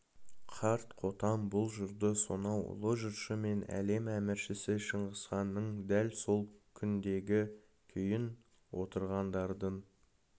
қарт қотан бұл жырды сонау ұлы жыршы мен әлем әміршісі шыңғысханның дәл сол күндегі күйін отырғандардың